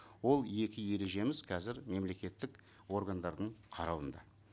ол екі ережеміз қазір мемлекеттік органдардың қарауында